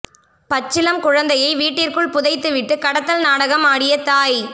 பச்சிளம் குழந்தையை வீட்டிற்குள் புதைத்து விட்டு கடத்தல் நாடகம் ஆடிய தாய்